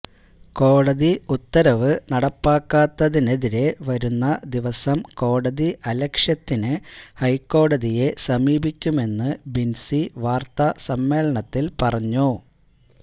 കോടതി ഉത്തരവ് നടപ്പാക്കാത്തതിനെതിരേ വരുന്ന ദിവസം കോടതി അലക്ഷ്യത്തിന് ഹൈക്കോടതിയെ സമീപിക്കുമെന്ന് ബിന്സി വാര്ത്തസമ്മേളനത്തില് പറഞ്ഞു